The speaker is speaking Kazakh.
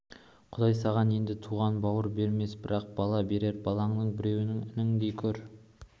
құдай саған енді туған бауыр бермес бірақ бала берер балаңның біреуін ініңдей көр